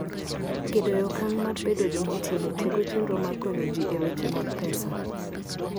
Gedo e Okang ' mar Bedo Jomoti: Tego chenro mag konyo ji e weche mag pesa.